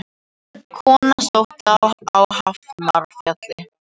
Kona sótt á Hafnarfjall